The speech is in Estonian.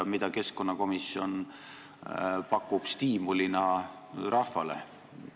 Mida keskkonnakomisjon pakub siis stiimulina rahvale?